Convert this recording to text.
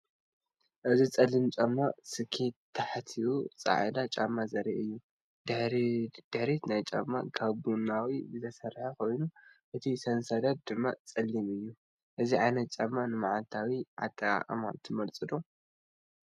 እዚ ጸሊም ጫማ ስኬት ታሕቱ ጻዕዳ ጫማ ዘርኢ እዩ። ድሕሪት ናይቲ ጫማ ካብ ቡናዊ ዝተሰርሐ ኮይኑ፡ እቲ ሰንሰለት ድማ ጸሊም እዩ። እዚ ዓይነት ጫማ ንመዓልታዊ ኣጠቓቕማ ትመርጹ ዶ?